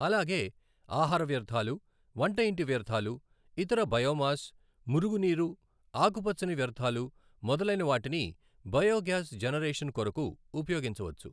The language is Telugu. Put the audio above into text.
అలాగే ఆహార వ్యర్థాలు వంటఇంటి వ్యర్థాలు ఇతర బయోమాస్ మురుగునీరు ఆకుపచ్చని వ్యర్థాలు మొదలైన వాటిని బయోగ్యాస్ జనరేషన్ కొరకు ఉపయోగించవచ్చు.